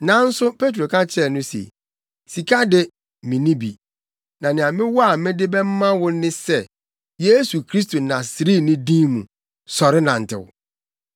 Nanso Petro ka kyerɛɛ no se, “Sika de, minni bi; na nea mewɔ a mede bɛma wo ne sɛ Yesu Kristo Nasareni din mu, sɔre nantew!”